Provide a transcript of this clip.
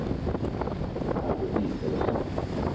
Algot Israelsson